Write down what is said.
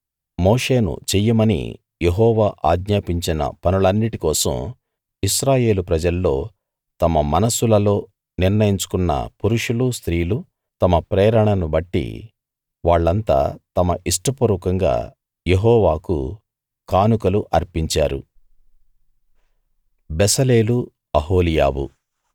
మోషేను చెయ్యమని యెహోవా ఆజ్ఞాపించిన పనులన్నిటి కోసం ఇశ్రాయేలు ప్రజల్లో తమ మనస్సులలో నిర్ణయించుకున్న పురుషులు స్త్రీలు తమ ప్రేరణను బట్టి వాళ్ళంతా తమ ఇష్టపూర్వకంగా యెహోవాకు కానుకలు అర్పించారు